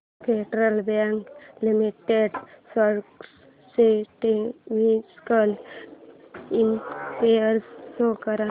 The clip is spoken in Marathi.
फेडरल बँक लिमिटेड स्टॉक्स चे टेक्निकल इंडिकेटर्स शो कर